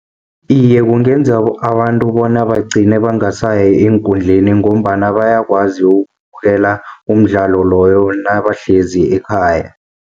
Iye, kungenza abantu bona bagcine bangasaya eenkundleni, ngombana bayakwazi ukubukela umdlalo loyo nabahlezi ekhaya.